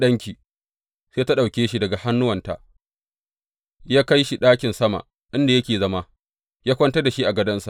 Sai ya ɗauke shi daga hannuwanta, ya kai shi ɗakin sama inda yake zama, ya kwantar da shi a gadonsa.